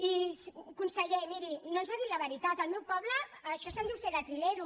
i conseller miri no ens ha dit la veritat al meu poble d’això se’n diu fer de trilero